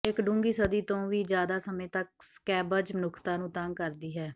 ਇੱਕ ਡੂੰਘੀ ਸਦੀ ਤੋਂ ਵੀ ਜ਼ਿਆਦਾ ਸਮੇਂ ਤੱਕ ਸਕੈਬਜ਼ ਮਨੁੱਖਤਾ ਨੂੰ ਤੰਗ ਕਰਦੀ ਹੈ